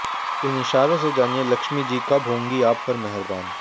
इन इशारों से जानिए लक्ष्मीजी कब होंगी आप पर मेहरबान